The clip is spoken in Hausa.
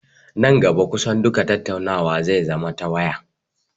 Nan gaba kusan duka tattaunawa zai zama ta waya